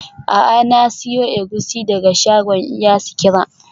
A'a, na siyo egusi daga shagon iya sikira.